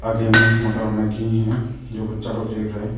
आगे में मोटा है जो बच्चा को देख रहे हैं।